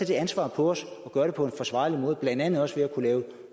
det ansvar på sig at gøre det på en forsvarlig måde blandt andet også ved at kunne